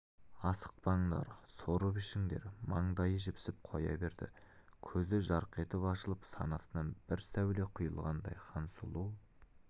асықпаңдар сорып ішіңдер маңдайы жіпсіп қоя берді көзі жарқ етіп ашылып санасынан бір сәуле құйылғандай хансұлу